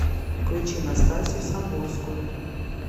включи настасью самбурскую